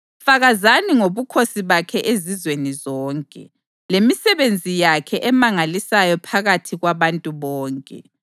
Fakazani ngobukhosi bakhe ezizweni zonke, lemisebenzi yakhe emangalisayo phakathi kwabantu bonke.